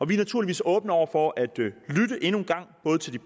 vi er naturligvis åbne over for at lytte endnu en gang både til de